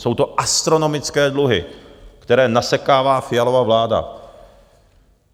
Jsou to astronomické dluhy, které nasekává Fialova vláda.